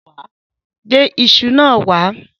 Gbé iṣu náà wá.